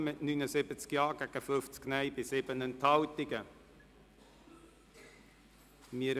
Sie haben dem Gesetz mit 79 Ja- zu 50 Nein-Stimmen bei 7 Enthaltungen zugestimmt.